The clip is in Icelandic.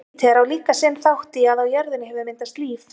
júpíter á líka sinn þátt í að á jörðinni hefur myndast líf